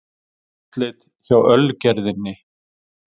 Húsleit hjá Ölgerðinni